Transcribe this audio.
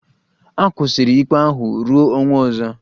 A kwụsịrị ikpe ahụ ruo ọnwa ọzọ